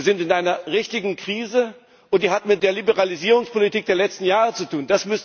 Wir sind in einer richtigen Krise, und die hat mit der Liberalisierungspolitik der letzten Jahre zu tun.